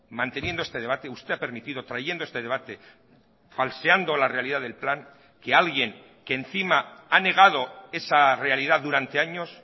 manteniendo este debate usted a permitido trayendo este debate falseando la realidad del plan que alguien que encima ha negado esa realidad durante años